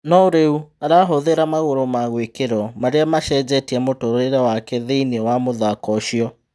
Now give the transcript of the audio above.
No rĩ u arahũthĩ ra magũrũ ma gwĩ kirwo marĩ a macenjetie mũtũrĩ re wake thĩ iniĩ wa mũthako ũcio.